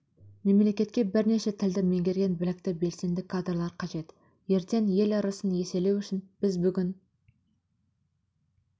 мемлекетке бірнеше тілді меңгерген білікті белсенді кадрлар қажет ертең ел ырысын еселеу үшін біз бүгін